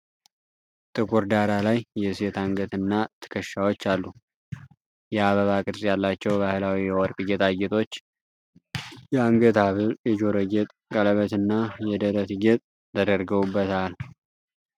ጥቁር ዳራ ላይ የሴት አንገትና ትከሻዎች አሉ። የአበባ ቅርጽ ያላቸው ባህላዊ የወርቅ ጌጣጌጦች: የአንገት ሐብል፣ የጆሮ ጌጥ፣ ቀለበትና የደረት ጌጥ ተደርገውበታል።